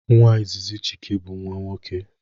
Nwa izizi Chike bụ nwa nwoke